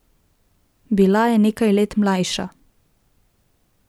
Bila je nekaj let mlajša.